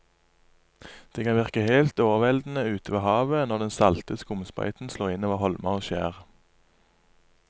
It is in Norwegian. Det kan virke helt overveldende ute ved havet når den salte skumsprøyten slår innover holmer og skjær.